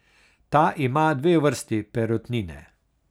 Ta ima dve vrsti perutnine.